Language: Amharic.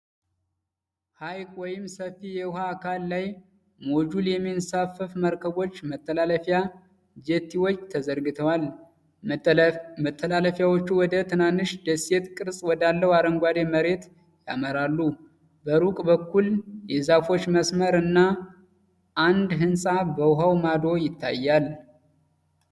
ሐይቅ ወይም ሰፊ የውሃ አካል ላይ ሞጁል የሚንሳፈፉ መርከቦች መተላለፊያ (ጀቲዎች) ተዘርግተዋል። መተላለፊያዎቹ ወደ ትናንሽ ደሴት ቅርጽ ወዳለው አረንጓዴ መሬት ያመራሉ። በሩቅ በኩል፣ የዛፎች መስመር እና አንድ ህንፃ በውሃው ማዶ ይታያሉ።